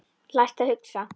Lært að hugsa.